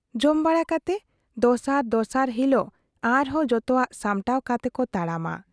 ᱡᱚᱢ ᱵᱟᱲᱟ ᱠᱟᱛᱮ ᱫᱚᱥᱟᱨ ᱫᱚᱥᱟᱨ ᱦᱤᱞᱳᱜ ᱟᱨᱦᱚᱸ ᱡᱚᱛᱚᱣᱟᱜ ᱥᱟᱢᱴᱟᱣ ᱠᱟᱛᱮ ᱠᱚ ᱛᱟᱲᱟᱢᱟ ᱾